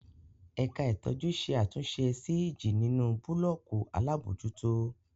Ẹ̀ka ìtọ́jú ṣe àtúnṣe sí ìjì nínú búlọ́ọ̀kù alábòójútó.